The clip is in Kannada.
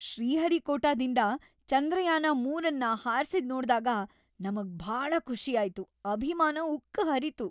ಶ್ರೀಹರಿಕೋಟಾದಿಂದ ಚಂದ್ರಯಾನ-‌ಮೂರನ್ನ ಹಾರ್ಸಿದ್ ನೋಡ್ದಾಗ ನಮಗ್ ಭಾಳ ಖುಷಿಯಾತು‌, ಅಭಿಮಾನ ಉಕ್ಕ್‌ಹರೀತು.